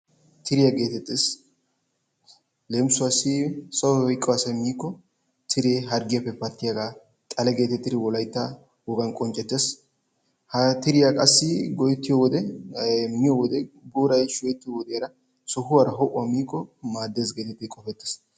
Tiriya geetettees. leemissuwaassi sahoy oyqqo asay miiko tiree harggioyaappe pattiyaaga xale geetettidi nu wolaytta wogan qonccetees. ha tiriyaa qassi booray shukettiyo wode sohuwara miikko maadees.